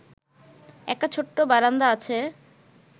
একটা ছোট্ট বারান্দা আছে